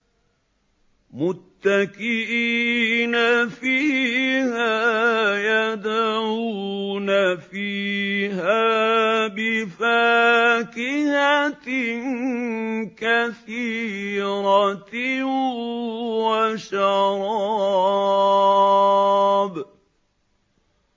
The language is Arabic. مُتَّكِئِينَ فِيهَا يَدْعُونَ فِيهَا بِفَاكِهَةٍ كَثِيرَةٍ وَشَرَابٍ